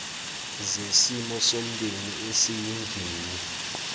zesimo somndeni esiyingini